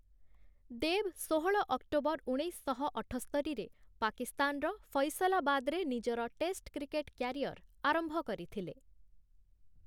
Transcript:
ଦେବ୍‌ ଷୋହଳ ଅକ୍ଟୋବର ଉଣେଇଶଶହ ଅଠସ୍ତରିରେ ପାକିସ୍ତାନର ଫୈସଲାବାଦରେ ନିଜର ଟେଷ୍ଟ କ୍ରିକେଟ୍ କ୍ୟାରିୟର ଆରମ୍ଭ କରିଥିଲେ ।